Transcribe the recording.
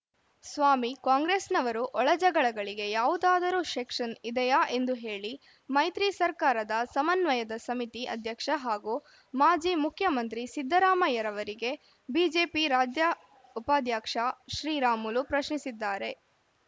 ಸ್ವಾಮಿ ಕಾಂಗ್ರೆಸ್‌ನವರು ಒಳ ಜಗಳಗಳಿಗೆ ಯಾವುದಾದರೂ ಸೆಕ್ಷನ್‌ ಇದೆಯಾ ಹೇಳಿ ಎಂದು ಮೈತ್ರಿ ಸರ್ಕಾರದ ಸಮನ್ವಯ ಸಮಿತಿ ಅಧ್ಯಕ್ಷ ಹಾಗೂ ಮಾಜಿ ಮುಖ್ಯಮಂತ್ರಿ ಸಿದ್ಧರಾಮಯ್ಯರವರಿಗೆ ಬಿಜೆಪಿ ರಾಜ್ಯ ಉಪಾಧ್ಯಕ್ಷ ಬಿಶ್ರೀರಾಮುಲು ಪ್ರಶ್ನಿಸಿದ್ದಾರೆ